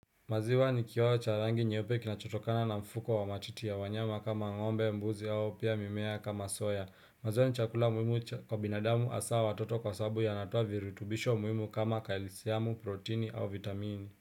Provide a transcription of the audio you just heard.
Maziwa nikioo cha rangi nyeupe kinachotokana na mfuko wa matiti ya wanyama kama ngombe, mbuzi au pia mimea kama soya. Maziwa ni chakula muhimu kwa binadamu hasaa watoto kwa sababu yanatoa virutubisho muhimu kama kalsiamu, protini au vitamini.